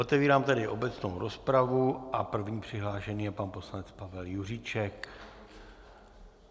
Otevírám tedy obecnou rozpravu a první přihlášený je pan poslanec Pavel Juříček.